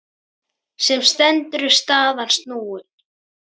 Sem stendur er staðan snúin.